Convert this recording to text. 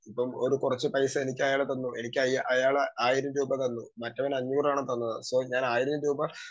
Speaker 2 ഇപ്പം ഒരു കുറച്ചു പൈസ എനിക്കയാള് തന്നു. എനിക്ക് അയാള് 1000 രൂപ തന്നു. മറ്റവൻ അഞ്ഞൂറാണ് തന്നത് സൊ ഞാൻ ആയിരം രൂപ